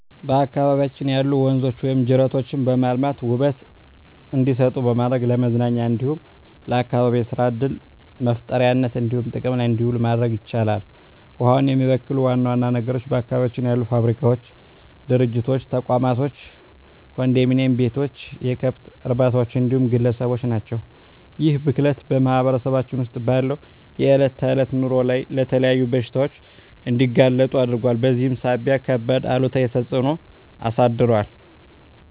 በአካባቢያችን ያሉ ወንዞች ወይም ጅረቶችን በማልማት ውበት እንዲሰጡ በማድረግ ለመዝናኛ እንዲሁም ለአካባቢ የሰራ ዕድል መፍጠሪያነት እንዲሆኑ ጥቅም ላይ እንዲውሉ ማድረግ ይቻላል። ውሃውን የሚበክሉ ዋና ዋና ነገሮች በአካባቢያችን ያሉ ፋብሪካዎች፣ ድርጅቶች፣ ተቋማቶች፣ ኮንዶሚኒዬም ቤቶች፣ የከብት እርባታዎች እንዲሁም ግለሰቦች ናቸው። ይህ ብክለት በማህበረሰባችን ውስጥ ባለው የዕለት ተዕለት ኑሮ ላይ ለተለያዩ በሽታዎች እንዲጋለጡ አድርጓል በዚህም ሳቢያ ከባድ አሉታዊ ተፅዕኖ አሳድሯል።